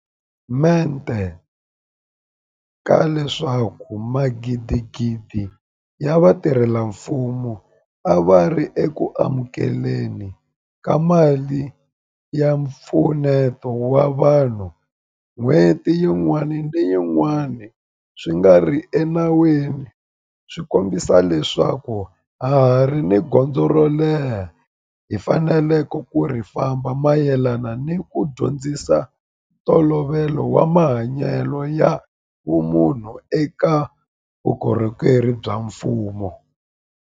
mente ka leswaku magidigidi ya vatirhela mfumo a va ri eku amukele ni ka mali ya mpfuneto wa vanhu n'hweti yin'wana ni yin'wana swi nga ri enawini swi kombisa leswaku ha ha ri ni gondzo ro leha leri hi faneleke ku ri famba mayelana ni ku dyondzisa ntolovelo wa mahanyelo ya vumunhu eka vukorhokeri bya mfumo.